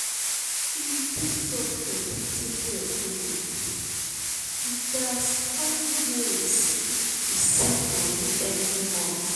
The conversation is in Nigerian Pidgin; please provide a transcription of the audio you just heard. in dis unpredictable economy we gats find ways to save money every month.